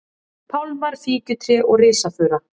pálmar, fíkjutré og risafura.